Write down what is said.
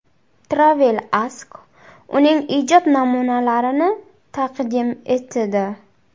TravelAsk uning ijod namunalarini taqdim etdi .